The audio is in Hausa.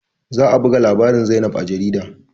Za a buga labarin zainab a jarida